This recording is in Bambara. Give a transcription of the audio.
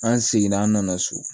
An seginna an nana so